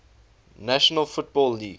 national football league